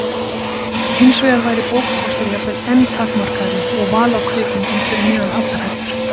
Hinsvegar væri bókakostur jafnvel enn takmarkaðri og val á kvikmyndum fyrir neðan allar hellur.